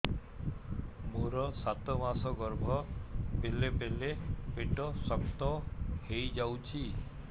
ମୋର ସାତ ମାସ ଗର୍ଭ ବେଳେ ବେଳେ ପେଟ ଶକ୍ତ ହେଇଯାଉଛି